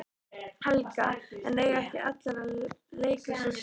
Helga: En eiga ekki allir að leika sér saman?